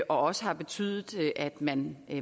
også har betydet at man